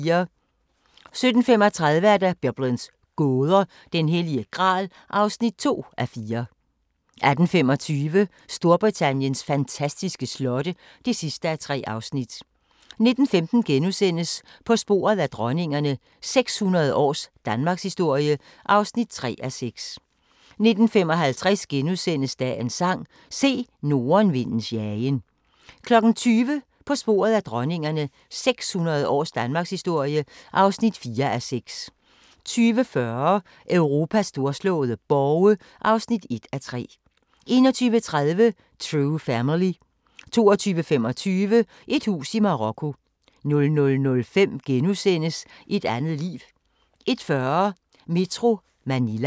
17:35: Biblens gåder – Den Hellige Gral (2:4) 18:25: Storbritanniens fantastiske slotte (3:3) 19:15: På sporet af dronningerne – 600 års danmarkshistorie (3:6)* 19:55: Dagens Sang: Se nordenvindens jagen * 20:00: På sporet af dronningerne – 600 års Danmarkshistorie (4:6) 20:40: Europas storslåede borge (1:3) 21:30: True family 22:25: Et hus i Marokko 00:05: Et andet liv * 01:40: Metro Manila